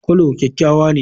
Coulor kyakkyawa ne.